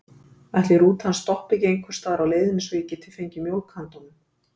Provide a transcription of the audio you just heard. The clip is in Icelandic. Ætli rútan stoppi ekki einhversstaðar á leiðinni svo ég geti fengið mjólk handa honum?